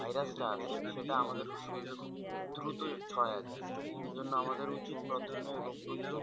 virus টা আছে সেটা আমাদের শরীরে খুব দ্রুত ছড়ায় যায়। ওইজন্য আমাদের উচিৎ প্রথমে রোগ প্রতিরোধ